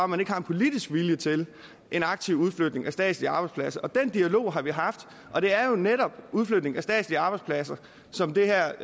man ikke har en politisk vilje til en aktiv udflytning af statslige arbejdspladser og den dialog har vi haft og det er jo netop udflytning af statslige arbejdspladser som det her